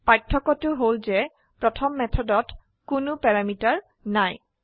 পাৰ্থক্যটো হল যে প্ৰথম মেথডত কোনো প্যাৰামিটাৰ নাই